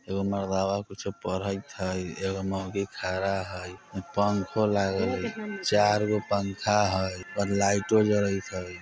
ऐगो मरदावा कुछो पढ़इत हइ। ऐगो मौगी खड़ा हइ। पंखो लागल हइ। चारगो पंखा हइऔर लाईटो जरईत हइ ।